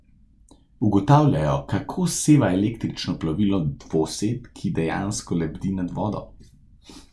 Ugotavljajo, kako seva električno plovilo, dvosed, ki dejansko lebdi nad vodo.